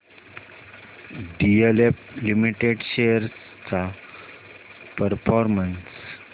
DLF limited shares चा performance